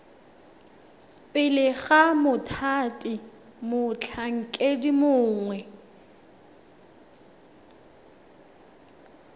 pele ga mothati motlhankedi mongwe